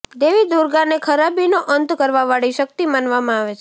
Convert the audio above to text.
દેવી દુર્ગા ને ખરાબી નો અંત કરવા વાળી શક્તિ માનવામાં આવે છે